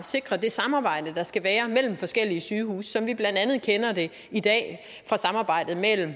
sikre det samarbejde der skal være mellem forskellige sygehuse som vi blandt andet kender det i dag fra samarbejdet mellem